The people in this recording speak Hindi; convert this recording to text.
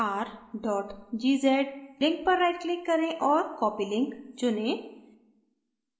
tar gz link link पर rightclick करें और copy link चुनें